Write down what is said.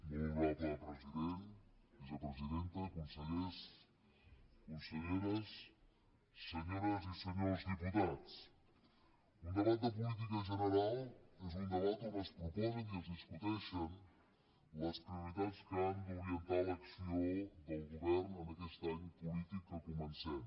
molt honorable president vicepresidenta consellers conselleres senyores i senyors diputats un debat de política general és un debat on es proposen i es discuteixen les prioritats que han d’orientar l’acció del govern en aquest any polític que comencem